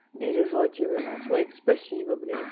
бережёте вы нас ой спасибо блядь